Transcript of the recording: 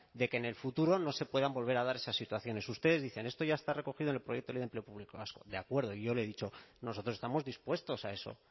de que en el futuro no se puedan volver a dar esas situaciones ustedes dicen esto ya está recogido en el proyecto de ley de empleo público vasco de acuerdo y yo le he dicho nosotros estamos dispuestos a eso